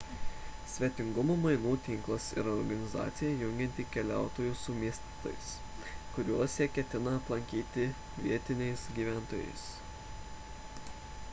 svetingumo mainų tinklas yra organizacija jungianti keliautojus su miestais kuriuos jie ketina aplankyti vietiniais gyventojais